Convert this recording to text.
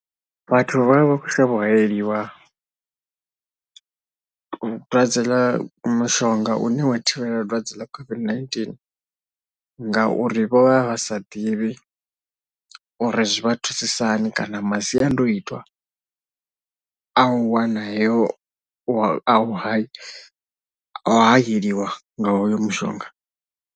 Vhathu vha vha vha khou shavha u hayeliwa dwadze ḽa mushonga une wa thivhela dwadze ḽa COVID-19 ngauri vho vha vha vha sa ḓivhi uri zwi vha thusisa hani kana masiandoitwa a u wana heyo, a u hayeliwa nga hoyo mushonga.